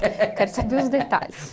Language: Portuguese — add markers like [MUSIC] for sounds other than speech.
[LAUGHS] Quero saber os detalhes.